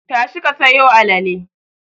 Tashi ka sayo alale!